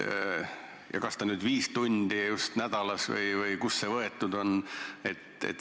Ja kas ta on nüüd just viis tundi nädalas või kust see võetud on?